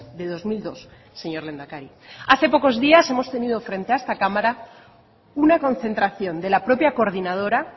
de dos mil dos señor lehendakari hace pocos días hemos tenido frente a esta cámara una concentración de la propia coordinadora